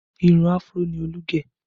Irun Afro ni Olú gẹ̀